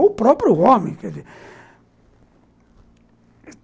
Ou o próprio homem.